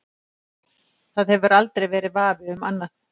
Það hefur aldrei verið vafi um annað.